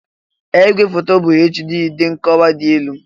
Ee! Ìgwèfoto a bụ HD (dị nkọwa dị elu).